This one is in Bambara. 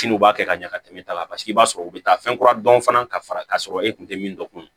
Siniw b'a kɛ ka ɲɛ ka tɛmɛ e ta la paseke i b'a sɔrɔ u bɛ taa fɛn kura dɔn fana ka fara k'a sɔrɔ e kun tɛ min dɔn kun